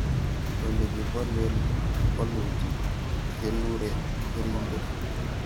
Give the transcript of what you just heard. ole kibolen bolutik keluren keringet